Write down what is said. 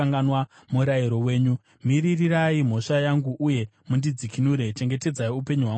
Miririrai mhosva yangu uye mundidzikinure; chengetedzai upenyu hwangu maererano nevimbiso yenyu.